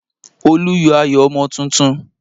Olu yọ ayọ̀ ọmọ tuntun